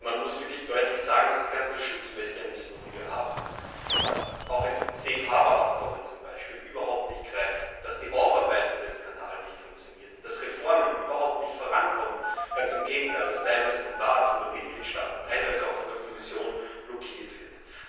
Man muss wirklich deutlich sagen, dass die ganzen Schutzmechanismen, die wir haben, auch ein Safe Harbour Abkommen zum Beispiel, überhaupt nicht greifen, dass die Aufarbeitung des Skandals nicht funktioniert, dass Reformen überhaupt nicht vorankommen, ganz im Gegenteil, dass teilweise vom Rat, von den Mitgliedstaaten, teilweise auch von der Kommission blockiert wird.